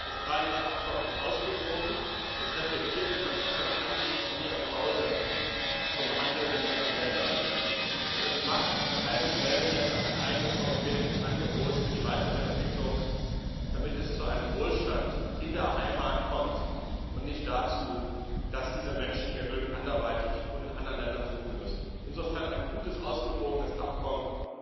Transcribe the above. Das Freihandelsabkommen ist ausgewogen, es reflektiert die verschiedenen Ansichten hier im Hause zum Handel mit anderen Ländern, und es macht allen Schwellenländern ein eigenes europäisches Angebot für die weitere Entwicklung, damit es zu einem Wohlstand in der Heimat kommt und nicht dazu, dass diese Menschen ihr Glück anderweitig und in anderen Ländern suchen müssen. Insofern ein gutes, ausgewogenes Abkommen,